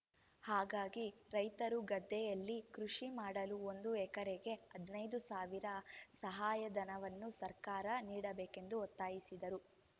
ಹಾಗಾಗಿ ರೈತರು ಗದ್ದೆಯಲ್ಲಿ ಕೃಷಿ ಮಾಡಲು ಒಂದು ಎಕರೆಗೆ ಹದಿನೈದು ಸಾವಿರ ಸಹಾಯಧನವನ್ನು ಸರ್ಕಾರ ನೀಡಬೇಕೆಂದು ಒತ್ತಾಯಿಸಿದರು